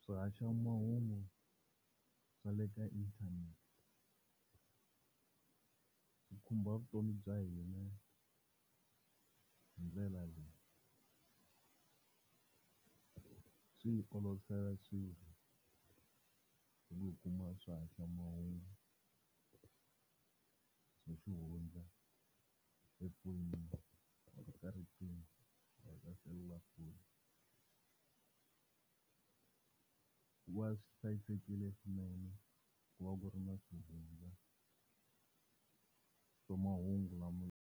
Swihaxamahungu swa le ka inthanete swikhumba vutomi bya hina hindlela leyi, swi hi olovisela swilo hi ku hi kuma swahaxamahungu, swa xihundla efoyinini kumbe ka riqhingo ra ka selulafoni hikuva swi hlayisekile swinene ku va ku ri na swihundla swa mahungu lama.